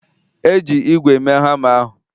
Eji ígwè mee hama ahụ?